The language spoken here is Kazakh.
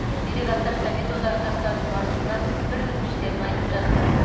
делегаттар совет одағы жастарының басшысына бір өтініштерін айтып жатты